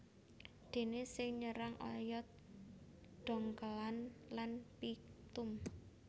Déné sing nyerang oyot dhongkèlan lan phyctum